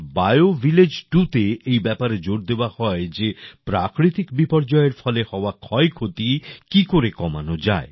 bio village 2 তে এই ব্যাপারে জোর দেওয়া হয় যে প্রাকৃতিক বিপর্যয়ের ফলে হওয়া ক্ষয় ক্ষতি কি করে কমানো যায়